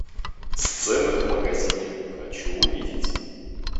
сцены в магазине хочу увидеть